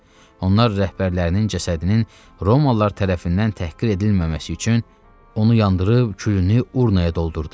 Onlar rəhbərlərinin cəsədinin Romalılar tərəfindən təhqir edilməməsi üçün onu yandırıb külünü urnaya doldurdular.